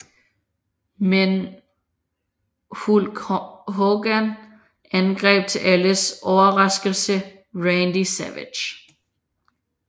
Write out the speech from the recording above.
Men Hulk Hogan angreb til alles overraskelse Randy Savage